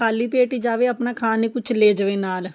ਖਾਲੀ ਪੇਟ ਹ ਜਾਵੇ ਆਪਣਾ ਖਾਣ ਲਈ ਕੁੱਝ ਲੈ ਜਾਵੇ ਨਾਲ